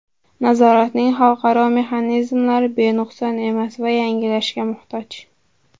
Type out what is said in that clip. Nazoratning xalqaro mexanizmlari benuqson emas va yangilanishga muhtoj.